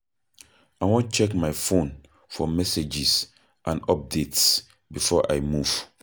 I wan check my fone for messages and updates before I move.